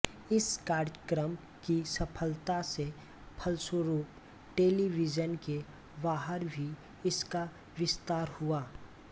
इस कार्यक्रम की सफलता के फलस्वरूप टेलीविजन के बाहर भी इसका विस्तार हुआ